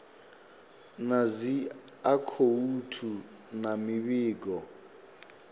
na dzi akhouthu na mivhigo